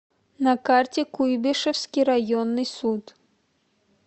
на карте куйбышевский районный суд